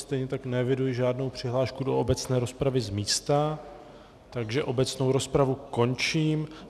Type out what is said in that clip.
Stejně tak neeviduji žádnou přihlášku do obecné rozpravy z místa, takže obecnou rozpravu končím.